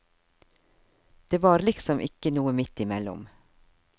Det var liksom ikke noe midt i mellom.